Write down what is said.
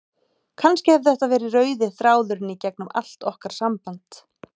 Kannski hefur þetta verið rauði þráðurinn í gegnum allt okkar samband.